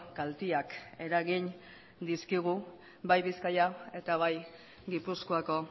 kalteak eragin dizkigu bai bizkaia eta bai gipuzkoako